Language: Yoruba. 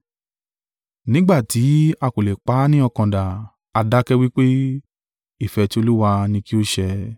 Nígbà tí a kò lè pa á ní ọkàn dà, a dákẹ́ wí pé, “Ìfẹ́ tí Olúwa ni kí ó ṣe!”